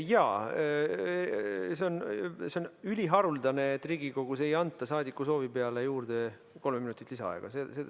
Jaa, see on üliharuldane, et Riigikogus ei anta saadiku soovi peale juurde kolme minutit lisaaega.